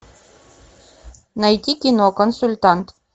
найти кино консультант